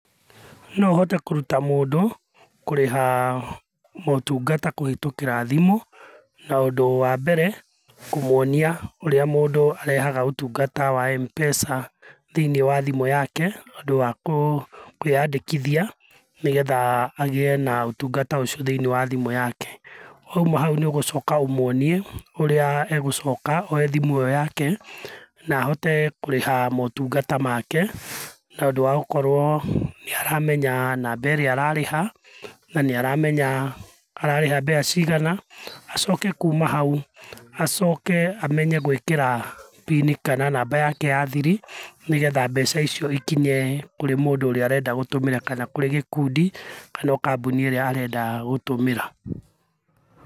No hote kũruta mũndũ kũrĩha motungata kũhĩtũkĩra thimu. Na ũndũ wa mbere kũmuonia ũrĩa mũndũ arehaga ũtungata wa Mpesa thĩiniĩ wa thimũ yake, ũndũ wa kwĩyandĩkithia nĩgetha agĩe na ũtungata ũcio thĩiniĩ wa thimũ yake. Wauma hau nĩ ũgũcoka ũmuonie ũrĩa egũcoka oe thimũ ĩyo yake na ahote kũrĩha motungata make na ũndũ wa gũkorwo nĩ aramenya namba ĩrĩa ararĩha, na nĩ aramenya ararĩha mbeca cigana, acoke kuma hau, acoke amenye gwĩkĩra pinĩ kana namba yake ya thiri nĩgetha mbeca icio ikinye kũrĩ mũndũ ũrĩa arenda gũtũmĩra, kana kũrĩ gikundi kana o kambuni ĩrĩa arenda gũtũmĩra.